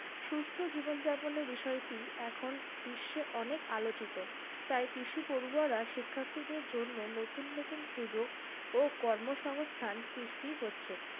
সুস্থ জীবন যাপনের বিষয়টি এখন বিশ্ব অনেক আলোচিত। তাই কৃষির পড়ুয়ারা শিক্ষার্থীদের জন্য নতুন নতুন সুযোগ ও কর্মসংস্থান সৃষ্টি হচ্ছে